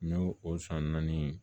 N y'o o san naani